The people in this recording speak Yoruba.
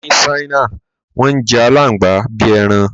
Ní Ṣáínà, wọ́n ń jẹ àláǹgbà bí i ẹran.